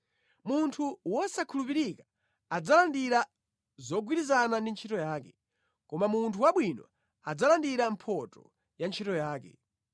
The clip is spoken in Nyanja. Munthu wosakhulupirika adzalandira zogwirizana ndi ntchito yake, koma munthu wabwino adzalandira mphotho ya ntchito yake.